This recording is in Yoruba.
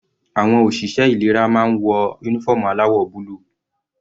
Àwọn òṣìṣẹ́ ìlera máa ń wọ uniform aláwọ̀ búlù.